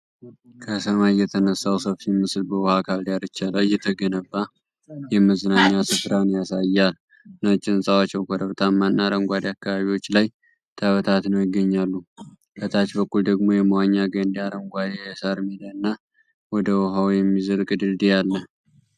ከሰማይ የተነሳው ሰፊ ምስል፣ በውሃ አካል ዳርቻ ላይ የተገነባ የመዝናኛ ስፍራን ያሳያል። ነጭ ህንፃዎች በኮረብታማና አረንጓዴ አካባቢዎች ላይ ተበታትነው ይገኛሉ። ከታች በኩል ደግሞ የመዋኛ ገንዳ፣ አረንጓዴ የሣር ሜዳ እና ወደ ውሃው የሚዘልቅ ድልድይ አለ።